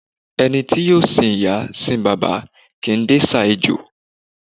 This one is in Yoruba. Ẹni tí yóò sìn ìyá, sín bàbá, kìí dẹsà ejò.